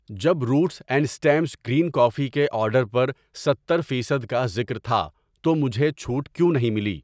جب Roots and Stems green coffee کے order پر ستتر فیصد کا ذکر تھا تو مجھے چھوٹ کیوں نہیں ملی؟